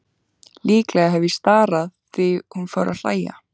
Líklega hef ég starað því hún fór að hlæja.